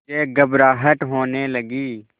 मुझे घबराहट होने लगी